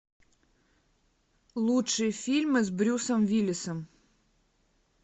лучшие фильмы с брюсом уиллисом